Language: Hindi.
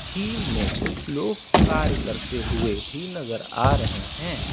झील में कुछ लोग कार्य करते हुए भी नजर आ रहे हैं।